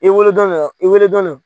I wolodɔn bɛ yan, i wele dɔ nɔ.